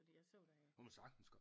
Fordi jeg så da